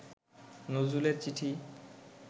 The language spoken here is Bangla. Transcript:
নজরুলের চিঠি